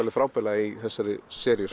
frábærlega í þessari seríu